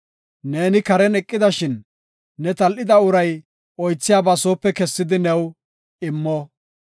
Neeni karen eqidashin, ne tal7ida uray oothiyaba soope kessidi new immo.